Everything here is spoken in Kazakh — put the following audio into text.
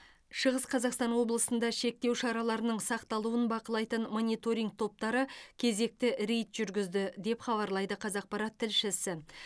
шығыс қазақстан облысында шектеу шараларының сақталуын бақылайтын мониторинг топтары кезекті рейд жүргізді деп хабарлайды қазақпарат тілшісі